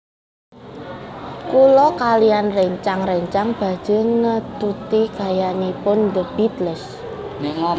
Kula kaliyan rencang rencang badhe ngetuti gayanipun The Beatles